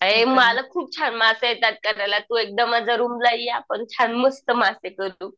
अय मला खूप छान मासे येतात करायला तू एकदा माझ्या रूमला ये आपण छान मस्त मासे करू.